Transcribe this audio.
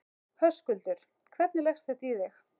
Höskuldur: Hvernig leggst þetta í þig?